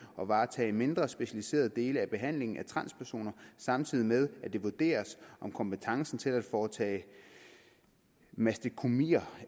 og varetage mindre specialiserede dele af behandlingen af transpersoner samtidig med at det vurderes om kompetencen til at foretage mastektomier